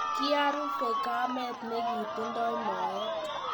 ikiaruve kamet ne kitingdoi moet.